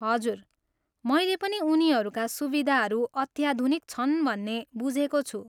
हजुर, मैले पनि उनीहरूका सुविधाहरू अत्याधुनिक छन् भन्ने बुझेको छु।